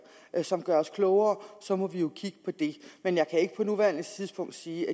som gør os klogere så må vi jo kigge på det men jeg kan ikke på nuværende tidspunkt sige